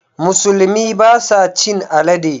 Musulmi ba sa cin alade.